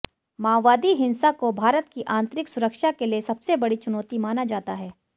माओवादी हिंसा को भारत की आंतरिक सुरक्षा के लिए सबसे बड़ी चुनौती माना जाता है